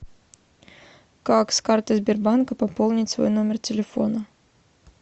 как с карты сбербанка пополнить свой номер телефона